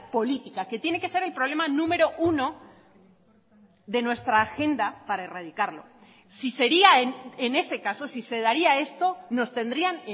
política que tiene que ser el problema número uno de nuestra agenda para erradicarlo si sería en ese caso si se daría esto nos tendrían